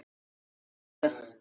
Borg númer tvö.